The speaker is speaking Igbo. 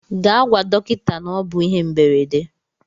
Gaa gwa dọkịta na ọ bụ ihe mberede.